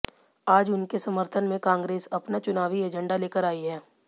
आज उनके समर्थन में कांग्रेस अपना चुनावी एजेंडा लेकर आई है